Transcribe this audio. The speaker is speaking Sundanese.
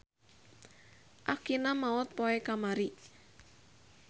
Akina maot poe kamari.